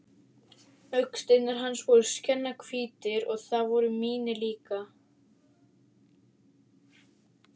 Augasteinar hans voru skjannahvítir og það voru mínir líka.